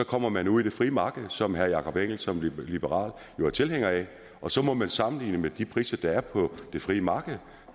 kommer man ud i det frie marked som herre jakob engel schmidt som liberal jo er tilhænger af og så må man sammenligne med de priser der er på det frie marked